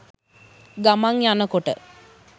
ගමන් යනකොට